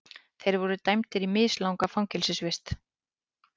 Þeir voru dæmdir í mislanga fangelsisvist